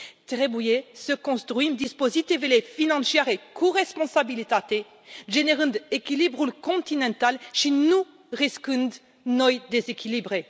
Trebuie să construim dispozitivele financiare cu responsabilitate, generând echilibrul continental și nu riscând noi dezechilibre.